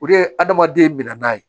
O de ye adamaden min na n'a ye